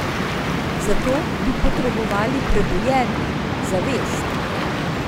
Za to bi potrebovali prebujenje, zavest.